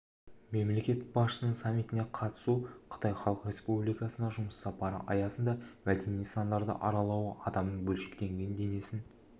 мемлекет басшысының саммитіне қатысуы қытай халық республикасына жұмыс сапары аясында мәдени нысандарды аралауы адамның бөлшектенген денесін